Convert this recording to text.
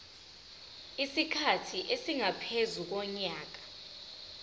isikhathi esingaphezu konyaka